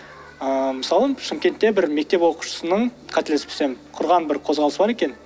ыыы мысалы шымкентте бір мектеп оқушысының қателеспесем құрған бір қозғалысы бар екен